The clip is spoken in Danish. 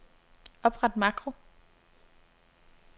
Opret makro.